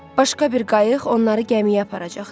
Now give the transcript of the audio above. Başqa bir qayıq onları gəmiyə aparacaqdı.